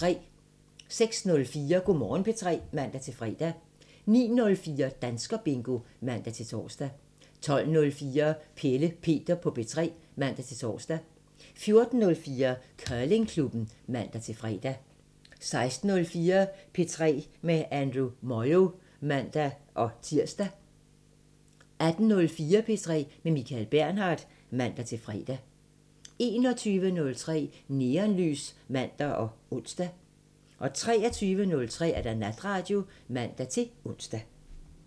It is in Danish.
06:04: Go' Morgen P3 (man-fre) 09:04: Danskerbingo (man-tor) 12:04: Pelle Peter på P3 (man-tor) 14:04: Curlingklubben (man-fre) 16:04: P3 med Andrew Moyo (man-tir) 18:04: P3 med Michael Bernhard (man-fre) 21:03: Neonlys (man og ons) 23:03: Natradio (man-ons)